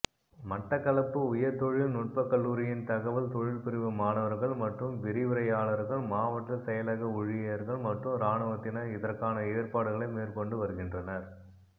மட்டக்களபப்பு உயர்தொழில்நுட்பக்கல்லுரியின் தகவல் தொழில்பிரிவு மாணவர்கள் மற்றம் விரிவுரையாளர்கள் மாவட்ட செயலக உழியர்கள் மற்றும் இராணுவத்தினர் இதற்கான ஏற்பாடுகளை மேற்கொண்டுவருகின்றனர்